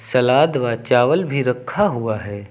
सलाद व चावल भी रखा हुआ है।